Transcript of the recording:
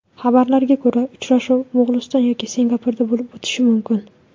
Xabarlarga ko‘ra, uchrashuv Mo‘g‘uliston yoki Singapurda bo‘lib o‘tishi mumkin.